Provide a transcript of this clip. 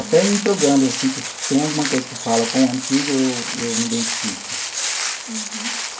Até em programas assim que tem alguma coisa que fala com o antigo, eu eu me identifico. Uhum.